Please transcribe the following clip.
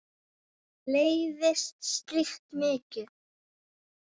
Mér leiðist slíkt mikið.